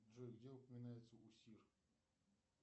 джой где упоминается усир